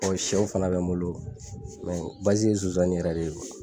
Ɔɔ sɛw fana bɛ n bolo ye nsonsanni yɛrɛ de ye.